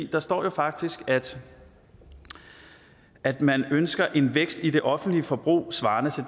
der står jo faktisk at at man ønsker en vækst i det offentlige forbrug svarende